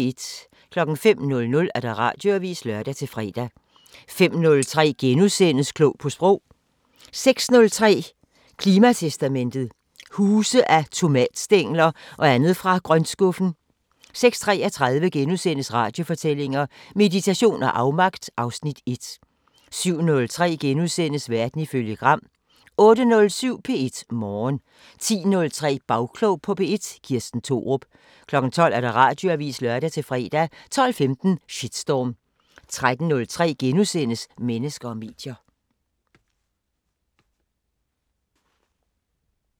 05:00: Radioavisen (lør-fre) 05:03: Klog på Sprog * 06:03: Klimatestamentet: Huse af tomatstængler og andet fra grøntskuffen 06:33: Radiofortællinger: Meditation og afmagt (Afs. 1)* 07:03: Verden ifølge Gram * 08:07: P1 Morgen 10:03: Bagklog på P1: Kirsten Thorup 12:00: Radioavisen (lør-fre) 12:15: Shitstorm 13:03: Mennesker og medier *